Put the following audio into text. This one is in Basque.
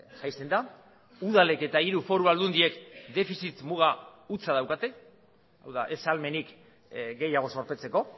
jaisten da udalek eta hiru foru aldundiek defizit muga hutsa daukate hau da ez ahalmenik gehiago zorpetzeko